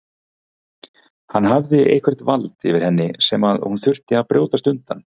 Hann hafði eitthvert vald yfir henni sem hún þurfti að brjótast undan.